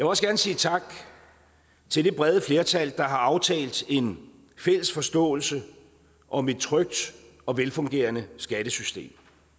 også gerne sige tak til det brede flertal der har aftalt en fælles forståelse om et trygt og velfungerende skattesystem